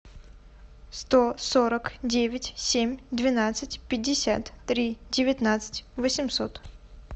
сто сорок девять семь двенадцать пятьдесят три девятнадцать восемьсот